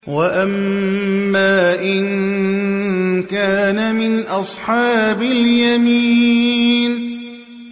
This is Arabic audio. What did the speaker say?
وَأَمَّا إِن كَانَ مِنْ أَصْحَابِ الْيَمِينِ